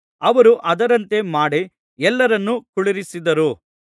ಅವರು ಅದರಂತೆ ಮಾಡಿ ಎಲ್ಲರನ್ನೂ ಕುಳ್ಳಿರಿಸಿದರು